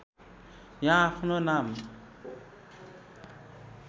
यहाँ आफ्नो नाम